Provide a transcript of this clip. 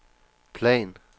plan